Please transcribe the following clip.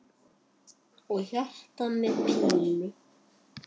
Og hjarta með pílu!